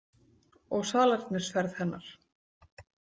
Og salernisferð hennar.